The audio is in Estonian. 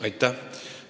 Aitäh!